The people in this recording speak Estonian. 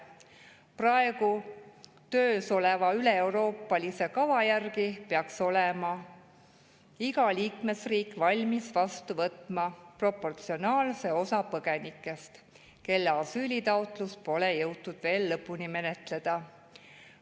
Praegu töös oleva üleeuroopalise kava järgi peaks iga liikmesriik olema valmis vastu võtma proportsionaalse osa põgenikest, kelle asüülitaotlust pole jõutud veel lõpuni menetleda.